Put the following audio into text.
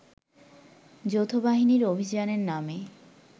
যৌথবাহিনীর অভিযানের নামে